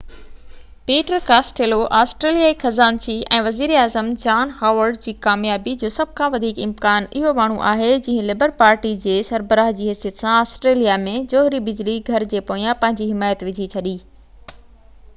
Peter Costello آسٽريليائي خزانچي ۽ وزير اعظم جان هاورڊ جي ڪاميابي جو سڀ کان وڌيڪ امڪان اهو ماڻهو آهي جنهن لبر پارٽي جي سربراه جي حيثيت سان آسٽريليا ۾ جوهري بجلي گهر جي پويان پنهنجي حمايت وجهي ڇڏي